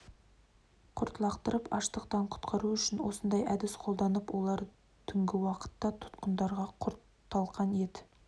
құрт лақтырып аштықтан құтқару үшін осындай әдіс қолданыпты олар түнгі уақытта тұтқындарға құрт талқан ет